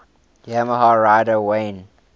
yamaha rider wayne